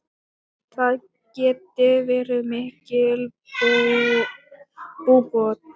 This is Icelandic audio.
Það geti verið mikil búbót.